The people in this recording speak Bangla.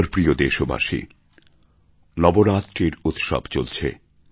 আমার প্রিয় দেশবাসী নবরাত্রির উৎসব চলছে